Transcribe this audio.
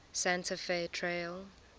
santa fe trail